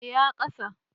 Eh ya ƙasa